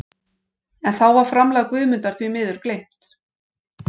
En þá var framlag Guðmundar því miður gleymt.